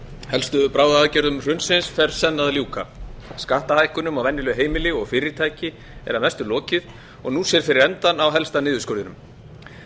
helstu bráðaaðgerðum hrunsins fer senn að ljúka skattahækkunum á venjuleg heimili og fyrirtæki er að mestu lokið og nú sér fyrir endann á helsta niðurskurðinum samkvæmt